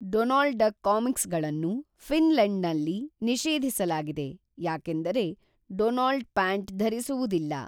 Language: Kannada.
ಡೊನಾಲ್ಡ್ ಡಕ್ ಕಾಮಿಕ್ಸ್ಗಳನ್ನು ಫಿನ್ಲೆಂಡ್ನಲ್ಲಿ ನಿಷೇಧಿಸಲಾಗಿದೆ, ಯಾಕೆಂದರೆ, ಡೊನಾಲ್ಡ್ ಪ್ಯಾಂಟ್ ಧರಿಸುವುದಿಲ್ಲ